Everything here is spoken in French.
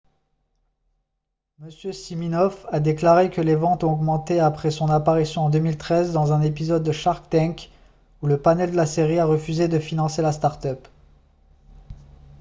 m siminoff a déclaré que les ventes ont augmenté après son apparition en 2013 dans un épisode de shark tank où le panel de la série a refusé de financer la start-up